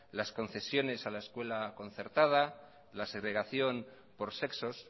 las concesiones a la escuela concertada la segregación por sexos